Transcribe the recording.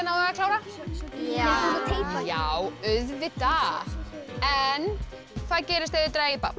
að klára já já auðvitað en hvað gerist ef þið dragið babb